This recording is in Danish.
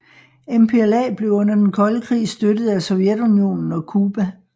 MPLA blev under den kolde krig støttet af Sovjetunionen og Cuba